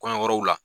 Kɔɲɔ yɔrɔw la